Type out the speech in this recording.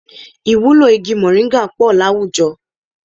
Ìwúlò igi mọ̀nríńgà pọ̀ àwùjọ